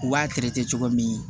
U b'a cogo min